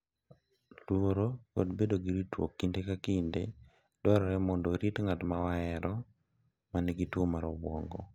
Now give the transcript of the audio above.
Luoro kod bedo gi ritruok kinde ka kinde dwarore mondo orit ng’at ma wahero ma nigi tuwo mar obwongo